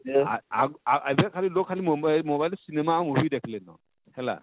ଆଁ ଆଁ ଏଭେ ଖାଲି ଲୋକ ମୋମ mobile ରେ cinema ଆଉ movie ଦେଖଲେ ନ ହେଲା